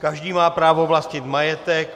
Každý má právo vlastnit majetek.